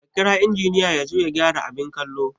Ka kira injiniya yazo ya gyara abin kallo